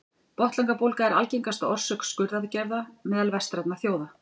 botnlangabólga er algengasta orsök skurðaðgerða meðal vestrænna þjóða